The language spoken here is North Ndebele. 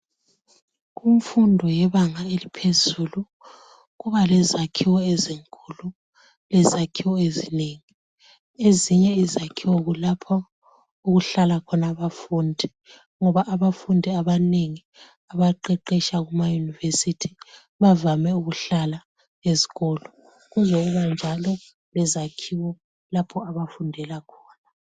Kumfundo yebanga eliphezulu, kubalezakhiwo ezinkulu lezakhiwo ezinengi. Ezinye izakhiwo kulapho okuhlala khona abafundi ngoba abafundi abanengi abaqeqesha kumayunivesithi bavame ukuhlala esikolo. Kuzokuba njalo lezakhiwo lapho abafundela khona.